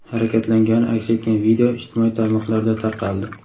harakatlangani aks etgan video ijtimoiy tarmoqlarda tarqaldi.